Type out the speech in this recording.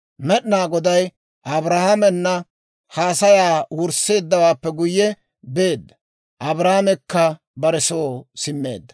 Med'inaa Goday Abrahaamena haasayaa wursseeddawaappe guyye beedda; Abrahaamekka bare soo simmeedda.